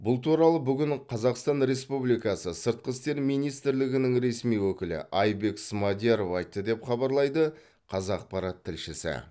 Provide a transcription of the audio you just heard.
бұл туралы бүгін қазақстан республикасы сыртқы істер министрлігінің ресми өкілі айбек смадияров айтты деп хабарлайды қазақпарат тілшісі